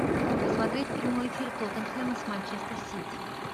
посмотреть прямой эфир тоттенхэма с манчестер сити